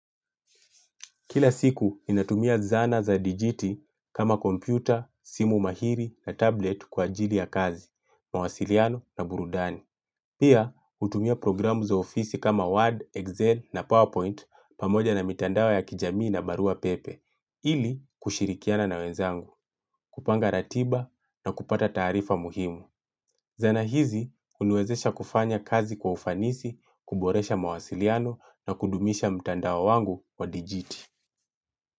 Kila siku, inatumia zana za digiti kama kompyuta, simu mahiri na tablet kwa ajili ya kazi, mawasiliano na burudani. Pia, utumia programu za ofisi kama Word, Excel na PowerPoint pamoja na mitandao ya kijamii na barua pepe. Ili, kushirikiana na wenzangu, kupanga ratiba na kupata taarifa muhimu. Zana hizi, uniwezesha kufanya kazi kwa ufanisi, kuboresha mawasiliano na kudumisha mitandao wangu wa digiti.